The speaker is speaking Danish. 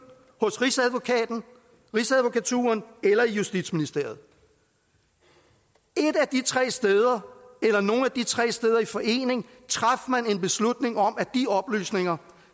hos rigsadvokaten rigsadvokaturen eller i justitsministeriet et af de tre steder eller nogle af de tre steder i forening traf man en beslutning om at de oplysninger